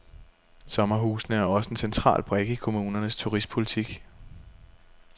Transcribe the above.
Sommerhusene er også en central brik i kommunernes turistpolitik.